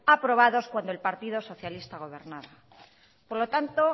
aprobados cuando el partido socialista gobernaba por lo tanto